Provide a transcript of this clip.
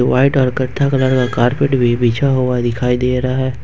White और कथ्था colour का कारपेट भी बिछा हुआ दिखाई दे रहा है।